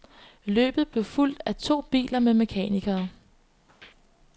Løbet blev fulgt af to biler med mekanikere.